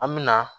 An mi na